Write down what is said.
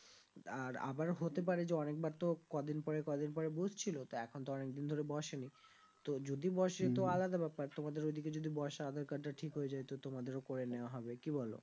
আর আবারও হতে পারে যে অনেক বার তো ক দিন পর ক দিন পরে বুঝছিলো তো এখন তো অনেক দিন ধরে বসেনি তো যদি বসে তো আলাদা ব্যাপার তোমাদের ওইদিকে যদি বসে আধার card টা ঠিক হয়ে যাই তো তোমাদেরও করে নেওয়া হবে কি বলো?